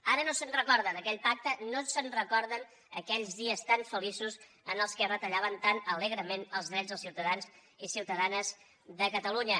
ara no se’n recorda d’aquell pacte no se’n recorden d’aquells dies tan feliços en què retallaven tan alegrement els drets dels ciutadans i ciutadanes de catalunya